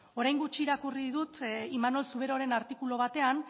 orain gutxi irakurri dut imanol zuberoren artikulu batean